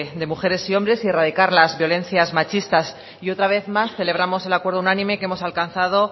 de mujeres y hombres y erradicar las violencias machistas y otra vez más celebramos el acuerdo unánime que hemos alcanzado